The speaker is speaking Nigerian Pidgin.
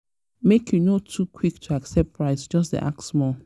make you no too quick to accept price; just dey ask small.